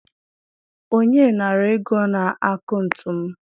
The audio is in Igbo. onye nara ego n'akaụntụ m?